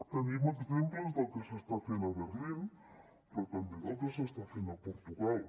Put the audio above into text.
tenim exemples del que s’està fent a berlín però també del que s’està fent a portugal